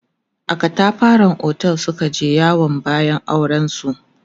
a katafaran otel Suka je yawon bayan auren su